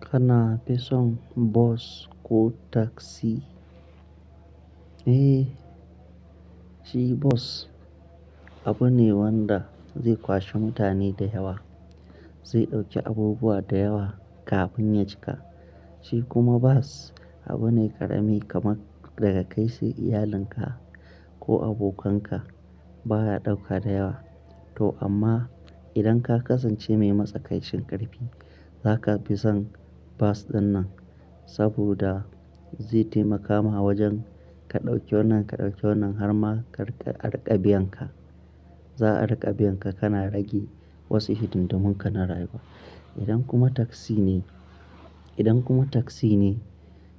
Kana fi son bus ko taksi? Eh, shi bus abu ne wanda zai kwashi mutane da yawa, zai ɗauki abubuwa da yawa kafin ya cika. Shi kuma bas abu ne ƙarami kamar daga kai sai iyalinka ko abokanka. Ba ya ɗauka da yawa. To amma idan ka kasance mai matsakaicin ƙarfi, za ka fi son bas dinnan saboda zai taimaka ma wajen ka ɗauki wannan, ka ɗauki wannan har ma arinƙabiyan ka. Za a arinƙabiyan ka kana rage wasu hidin di munka na rayuwa. Idan kuma taksi ne, idan kuma taksi ne,